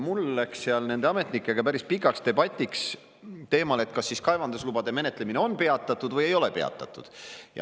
Mul läks seal nende ametnikega päris pikaks debatiks teemal, kas siis kaevandamislubade menetlemine on peatatud või ei ole peatatud.